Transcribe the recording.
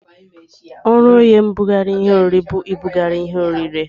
Ọrụ oye mbụgarị ihe orire bu ibụgarị ihe orire.